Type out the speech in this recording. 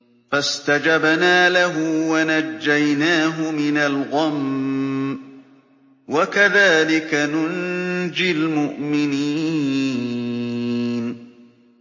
فَاسْتَجَبْنَا لَهُ وَنَجَّيْنَاهُ مِنَ الْغَمِّ ۚ وَكَذَٰلِكَ نُنجِي الْمُؤْمِنِينَ